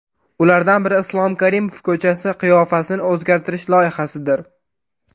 Ulardan biri - Islom Karimov ko‘chasi qiyofasini o‘zgartirish loyihasidir.